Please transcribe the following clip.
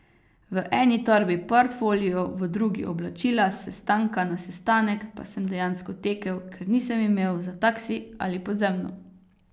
V eni torbi portfolio, v drugi oblačila, s sestanka na sestanek pa sem dejansko tekel, ker nisem imel za taksi ali podzemno.